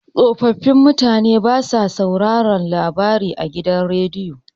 Tsofaffin mutane suna sauraron labarai a rediyo.